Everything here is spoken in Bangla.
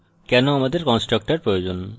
এবং কেন আমাদের constructors প্রয়োজন